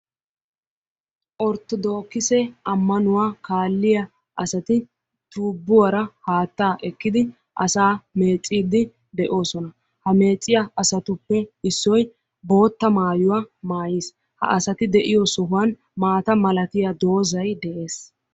Orttodokkisse ammanuwa kaaliya asati tubbuwara haattaa ekkidi asa meeccidi de'oosona, ha meecciyagetuppe issoy boottaa maayuwa maayis, ha asati de"oo sohuwan maatta malatiya doozay dees.